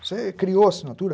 Você criou assinatura?